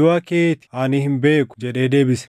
duʼa kee ti ani hin beeku” jedhee deebise.